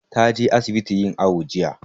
Ta je asibiti yin awo jiya.